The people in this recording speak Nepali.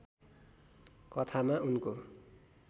कथामा उनको